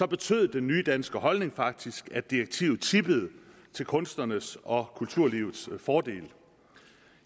betød den nye danske holdning faktisk at direktivet tippede til kunstnernes og kulturlivets fordel